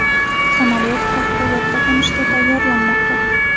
Samolyot favqulodda qo‘nishga tayyorlanmoqda.